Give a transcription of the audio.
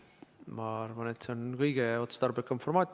Ma arvan, et see on kõige otstarbekam formaat.